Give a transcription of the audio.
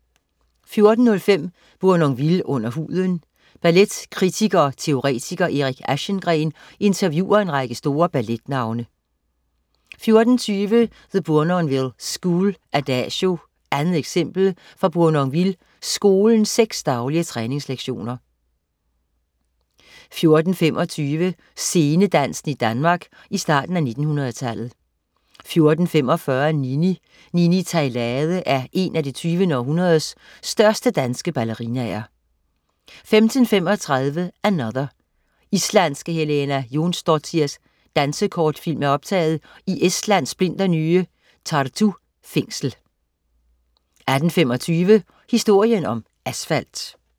14.05 Bournonville under huden. Balletkritiker og -teoretiker Erik Aschengreen interviewer en række store balletnavne 14.20 The Bournonville School: "Adagio" 2. eksempel fra Bournonville Skolens seks daglige træningslektioner 14.25 Scenedansen i Danmark i starten af 1900-tallet 14.45 Nini. Nini Theilade er en af det 20. århundredes største danske ballerinaer 15.35 Another. Islandske Helena Jonsdottirs dansekortfilm er optaget i Estlands splinternye Tartu Fængsel 18.25 Historien om asfalt